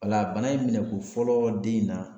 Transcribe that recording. O la bana in minɛ ko fɔlɔ den in na